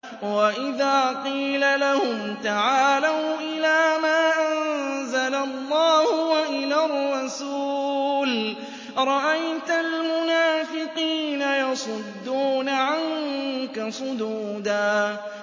وَإِذَا قِيلَ لَهُمْ تَعَالَوْا إِلَىٰ مَا أَنزَلَ اللَّهُ وَإِلَى الرَّسُولِ رَأَيْتَ الْمُنَافِقِينَ يَصُدُّونَ عَنكَ صُدُودًا